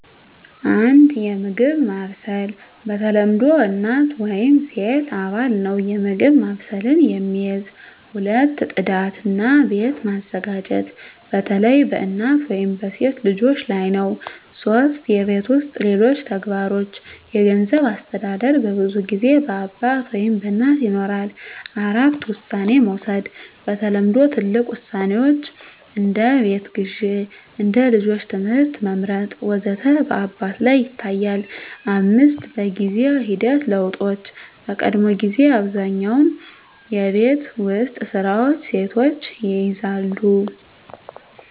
1. የምግብ ማብሰል በተለምዶ እናት ወይም ሴት አባል ነው የምግብ ማብሰልን የሚይዝ። 2. ጽዳት እና ቤት መዘጋጀት በተለይ በእናት ወይም በሴት ልጆች ላይ ነው 3. የቤት ውስጥ ሌሎች ተግባሮች የገንዘብ አስተዳደር በብዙ ጊዜ በአባት ወይም በእናት ይኖራል። 4. ውሳኔ መውሰድ በተለምዶ ትልቅ ውሳኔዎች (እንደ ቤት ግዢ፣ እንደ ልጆች ትምህርት መመርጥ ወዘተ) በአባት ላይ ይታያል፣ 5. በጊዜ ሂደት ለውጦች በቀድሞ ጊዜ አብዛኛውን የቤት ውስጥ ስራዎች ሴቶች ይይዛሉ